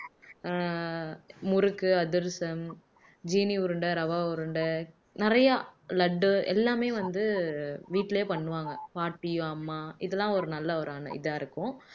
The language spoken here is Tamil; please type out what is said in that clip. ஆஹ் முறுக்கு, அதிரசம், ஜீனி உருண்டை, ரவா உருண்டை நிறைய லட்டு எல்லாமே வந்து வீட்டிலேயே பண்ணுவாங்க பாட்டி அம்மா இதெல்லாம் ஒரு நல்ல ஒரு அனு இதா இருக்கும்